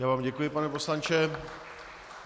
Já vám děkuji, pane poslanče.